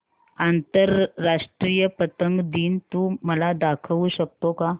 आंतरराष्ट्रीय पतंग दिन तू मला दाखवू शकतो का